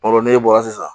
Baro n'e bɔra sisan